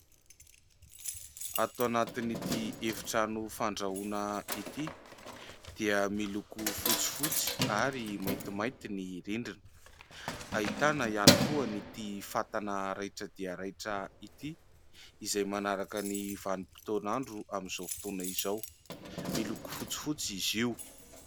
Ato anatin'ity efitrano fandrahoana ity dia miloko fotsifotsy ary maintimainty ny rindrina. Ahitana ihany koa an'ity fatana raitra dia raitra ity izay manaraka ny vanim-potoan'andro amin'izao fotoana izao. Miloko fotsifotsy izy io.